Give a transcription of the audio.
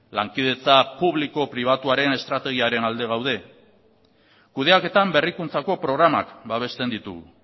lankidetza publiko pribatuaren estrategiaren alde gaude kudeaketan berrikuntzako programak babesten ditugu